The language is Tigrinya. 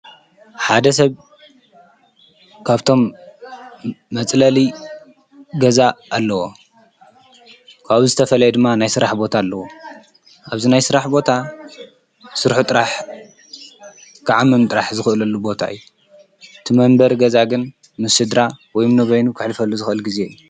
ሓደ ሰብ ካብቶም መፅለሊ ገዛ ኣለዎ ኳብ ዝተፈልየ ድማ ናይስራሕ ቦታ ኣለዉ ኣብዚ ናይ ስራሕ ቦታ ስርሑ ጥራሕ ክዓምም ጥራሕ ዝኽለሉ ቦታይ ቲመንበር ገዛግን ምስ ስድራ ወይም በይኑ ከሕልፈሉ ዝክእል ጊዜ እዩ።